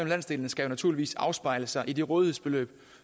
landsdelene skal naturligvis afspejle sig i det rådighedsbeløb